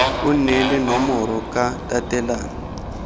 o neele nomoro ka tatelano